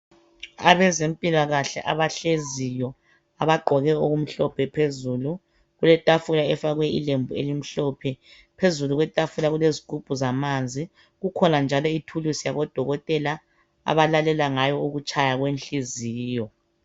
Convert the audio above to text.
Abazempilakahle abahleziyo abagqoke okumhlophe phezulu, kuletafula efakwe ilembu elimhlophe phezulu kwetafula kulezigubhu zamanzi, kukhona njalo ithuluzi yabo dokotela abalalela ngayo ukutshaya kwenhliziyo.